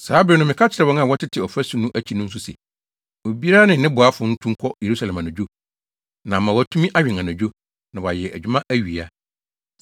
Saa bere no meka kyerɛɛ wɔn a wɔtete ɔfasu no akyi no nso se, “Obiara ne ne boafo ntu nkɔ Yerusalem anadwo na ama wɔatumi awɛn anadwo, na wɔayɛ adwuma awia.”